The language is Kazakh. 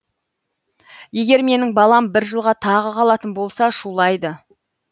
егер менің балам бір жылға тағы қалатын болса шулайды